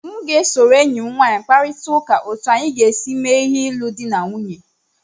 M ga-esoro enyi m nwanyị kparịta ụka otu anyị ga-esi mee ịlụ di na nwunye